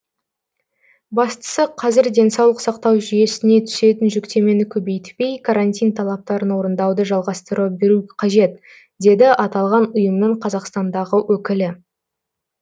бастысы қазір денсаулық сақтау жүйесіне түсетін жүктемені көбейтпей карантин талаптарын орындауды жалғастыра беру қажет деді аталған ұйымның қазақстандағы өкілі